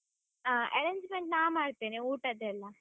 ಹಾ, arrangements ನಾ ಮಾಡ್ತೇನೆ, ಊಟದೆಲ್ಲಾ.